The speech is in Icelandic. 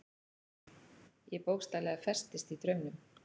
Ég bókstaflega festist í draumnum.